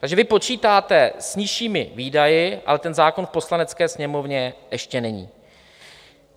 Takže vy počítáte s nižšími výdaji, ale ten zákon v Poslanecké sněmovně ještě není.